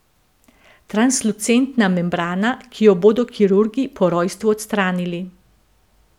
Translucentna membrana, ki jo bodo kirurgi po rojstvu odstranili.